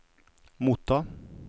motta